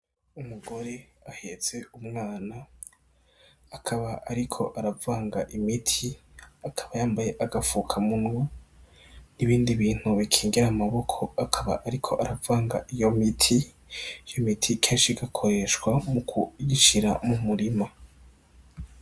Umugore ahetse umwana akaba ariko aravanga imiti akaba yambaye agafukamunwa n' ibindi bintu bikingira amaboko akaba ariko aravanga imiti, iyo miti kenshi igakoreshwa mu kuyishira mu murima.